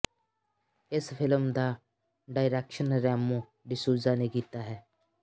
ਇਸ ਫ਼ਿਲਮ ਦਾ ਡਾਈਰੈਕਸ਼ਨ ਰੈਮੋ ਡਿਸੂਜ਼ਾ ਨੇ ਕੀਤਾ ਹੈ